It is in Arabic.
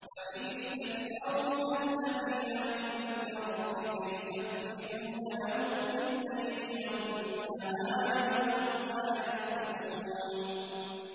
فَإِنِ اسْتَكْبَرُوا فَالَّذِينَ عِندَ رَبِّكَ يُسَبِّحُونَ لَهُ بِاللَّيْلِ وَالنَّهَارِ وَهُمْ لَا يَسْأَمُونَ ۩